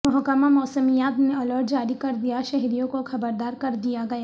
محکمہ موسمیات نے الرٹ جاری کر دیا شہریوں کو خبردار کر دیا گیا